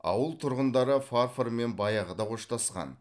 ауыл тұрғындары фарформен баяғыда қоштасқан